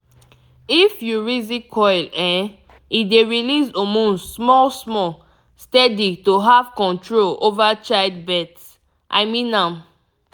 if you reason coil um e dey release hormones small small steady to have control over child birth - i mean am